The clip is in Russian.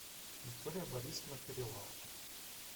виктория борисовна перевалова